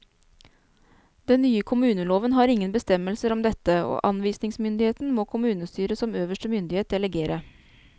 Den nye kommuneloven har ingen bestemmelser om dette, og anvisningsmyndigheten må kommunestyret som øverste myndighet delegere.